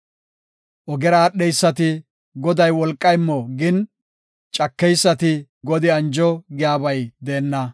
Ogera aadheysati, “Goday wolqa immo” gin, cakeysati “Godi anjo” giyabay deenna.